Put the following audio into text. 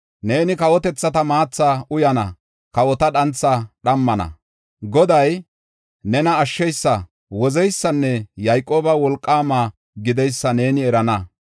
Neeni kawotethata maatha uyana; kawota dhantha dhammana. Goday, nena Ashsheysa, wozeysanne Yayqooba wolqaama gideysa neeni erana.